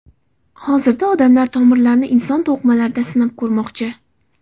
Hozirda olimlar tomirlarni inson to‘qimalarida sinab ko‘rmoqchi.